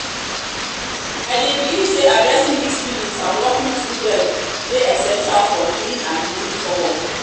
i dey believe say addressing these feelings and working through dem dey essential for healing and moving forward.